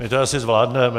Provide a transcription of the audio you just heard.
My to asi zvládneme.